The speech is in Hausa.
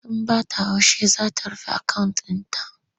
Sun ba ta haushi za ta rufe akawunt ɗin ta.